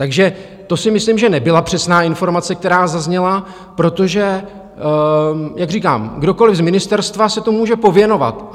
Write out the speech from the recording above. Takže to si myslím, že nebyla přesná informace, která zazněla, protože jak říkám, kdokoliv z ministerstva se tomu může pověnovat.